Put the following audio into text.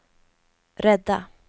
rädda